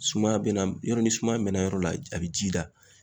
Sumaya bɛ na yɔrɔ ni sumaya mɛnna yɔrɔ la a bɛ ji da.